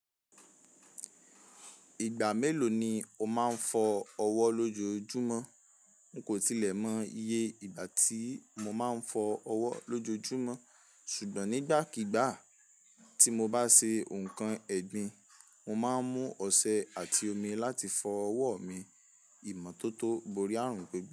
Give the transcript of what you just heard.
Ìgbà mélòó ni o máa ń fọ ọwọ́ lójoojúmọ́? N kò tilẹ̀ mọ iye ìgbà tí mo máa ń fọ ọwọ́ lójoojúmọ́. Ṣùgbọ́n nígbàkigbà tí mo bá ṣe nǹkan ẹ́gbìn, mo máa ń mú ọṣẹ àti omi láti fọ ọwọ́ mi. Ìmọ́tótó borí ààrùn pẹ́gbẹ́.